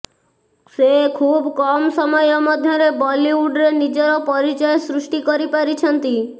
ସେ ଖୁବ୍ କମ୍ ସମୟ ମଧ୍ୟରେ ବଲିଉଡ୍ ରେ ନିଜର ପରିଚୟ ସୃଷ୍ଟି କରିପାରିଛନ୍ତି